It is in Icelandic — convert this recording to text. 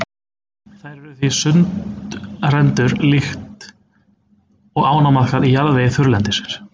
Þær eru því sundrendur líkt og ánamaðkar í jarðvegi þurrlendisins.